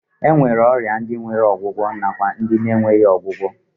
E nwere ọrịa ndi nwere ọgwụgwọ nwekwa ọrịa ndị na-enweghị ọgwụgwọ.